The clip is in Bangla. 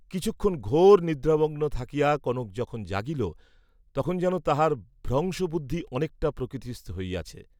কিছুক্ষণ ঘোর নিদ্রামগ্ন থাকিয়া কনক যখন জাগিল, তখন যেন তাহার ভ্রংশ বুদ্ধি অনেকটা প্রকৃতিস্থ হইয়াছে।